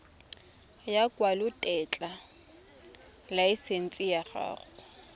ya lekwalotetla laesense ya go